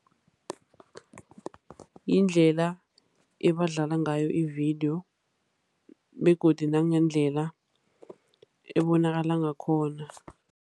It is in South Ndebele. Yindlela ebadlala ngayo ividiyo, begodu nangendlela ebonakala ngakhona.